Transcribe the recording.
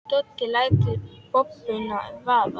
Doddi lætur bombuna vaða.